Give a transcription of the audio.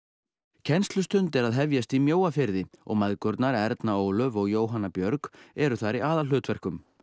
kennslustund er að hefjast í Mjóafirði og mæðgurnar Erna Ólöf og Jóhanna Björg eru þar í aðalhlutverkum